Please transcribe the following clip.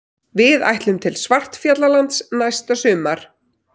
Við ætlum til Svartfjallalands næsta sumar.